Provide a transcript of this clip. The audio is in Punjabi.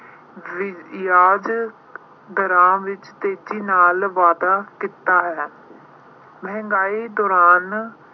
ਵਿਆਜ਼ ਦਰਾਂ ਵਿੱਚ ਤੇਜ਼ੀ ਨਾਲ ਵਾਧਾ ਕੀਤਾ ਹੈ। ਮਹਿੰਗਾਈ ਦੌਰਾਨ